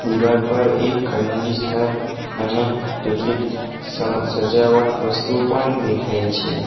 દિવાલ પર એક કન્ડિશનર અને કેટલીક સણ સજાવટ વસ્તુ પણ દેખાય છે.